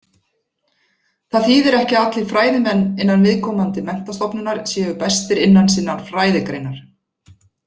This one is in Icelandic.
Það þýðir ekki að allir fræðimenn innan viðkomandi menntastofnunar séu bestir innan sinnar fræðigreinar.